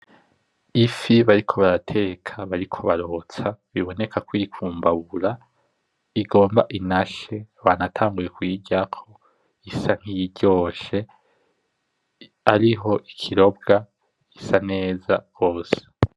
Ifi bariko barateka, bariko barotsa, biboneka ko iri ku mbabura ,igomba inashe, banatanguye kuyiryako, isa nkiyiryoshe, ariho ikirobwa isa neza hose.